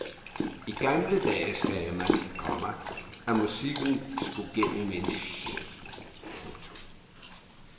I gamle dage sagde man, komma at musikken skulle gennem en sjæl. punktum